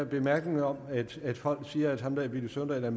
bemærkning om at folk siger at ham villy søvndal er